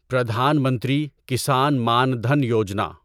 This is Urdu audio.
پردھان منتری کسان مان دھن یوجنا